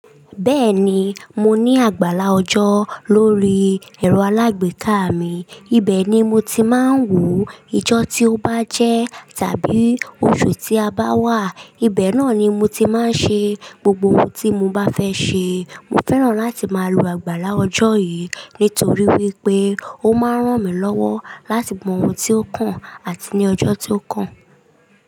Bẹ́ẹ̀ni, mo ní àgbàlá ọjọ́ lórí ẹ̀rọ alágbèéká mi. Ibẹ̀ ni mo ti máa ń wò ìjọ́ tí ó bá jẹ́ tàbí oṣù tí a bá wà. Ibẹ̀ náà ni mo ti máa ń ṣe gbogbo ohun tí mo bá fẹ́ ṣe. Mo fẹ́ràn láti máa lo àgbàlá ọjọ́ yìí nítorí wípé ó máa ń ràn mí lọ́wọ́ láti mọ ohun tí ó kàn àti ní ọjọ́ tí ó kàn.